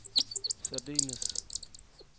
særdeles